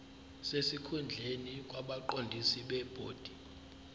sesikhundleni kwabaqondisi bebhodi